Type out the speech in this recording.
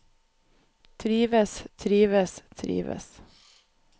trives trives trives